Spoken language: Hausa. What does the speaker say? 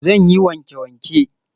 Zan yi wanke-wanke.